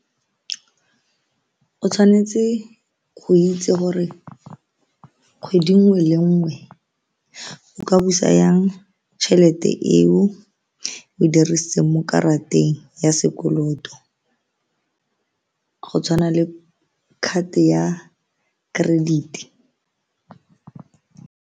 O tshwanetse go itse gore kgwedi nngwe le nngwe o ka busa jang tšhelete eo o dirisitseng mo karateng ya sekoloto go tshwana le card ya credit.